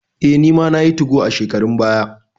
Eh, nima nayi 2go a shekarun baya.